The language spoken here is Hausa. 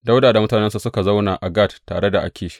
Dawuda da mutanensa suka zauna a Gat tare da Akish.